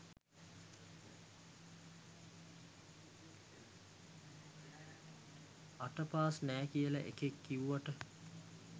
අට පාස් නෑ කියල එකෙක් කිව්වට